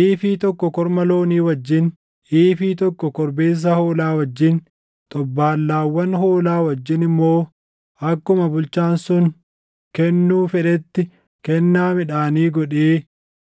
Iifii tokko korma loonii wajjin, iifii tokko korbeessa hoolaa wajjin, xobbaallaawwan hoolaa wajjin immoo akkuma bulchaan sun kennuu fedhetti kennaa midhaanii godhee